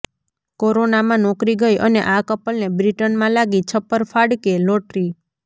કોરોનામાં નોકરી ગઇ અને આ કપલને બ્રિટનમાં લાગી છપ્પર ફાડકે લોટરી